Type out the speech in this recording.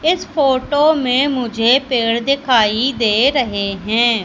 इस फोटो मे मुझे पेड दिखाई दे रहे है।